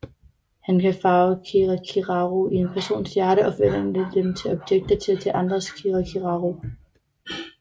Han kan farve kirakiraru i en persons hjerte og forvandle dem til objekter til at tage andres kirakiraru